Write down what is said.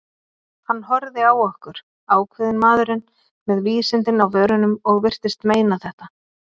Hann horfði á okkur, ákveðinn maðurinn, með vísindin á vörunum- og virtist meina þetta.